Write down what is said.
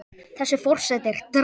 Þessi forseti er drasl!